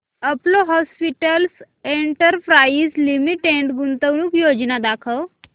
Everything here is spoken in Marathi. अपोलो हॉस्पिटल्स एंटरप्राइस लिमिटेड गुंतवणूक योजना दाखव